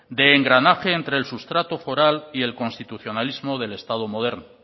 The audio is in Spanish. de engranaje entre el sustrato foral y el constitucionalismo del estado moderno